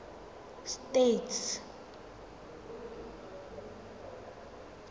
states